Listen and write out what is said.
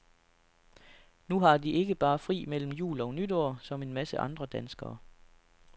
Nu har de ikke bare fri mellem jul og nytår som en masse andre danskere.